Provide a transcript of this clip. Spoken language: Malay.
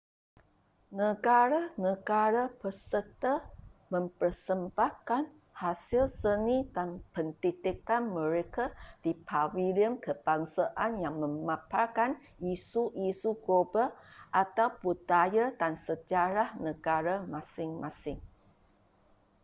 negara-negara peserta mempersembahkan hasil seni dan pendidikan mereka di pavilion kebangsaan yang memaparkan isu-isu global atau budaya dan sejarah negara masing-masing